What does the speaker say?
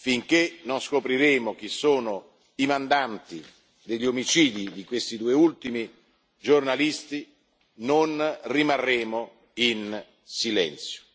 Finché non scopriremo chi sono i mandanti degli omicidi di questi due ultimi giornalisti, non rimarremo in silenzio.